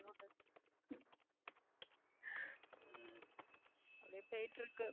அப்படியே போயிட்டிருக்கு